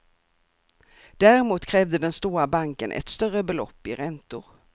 Däremot krävde den stora banken ett större belopp i räntor.